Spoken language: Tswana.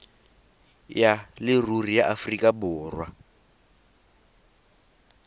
ya leruri ya aforika borwa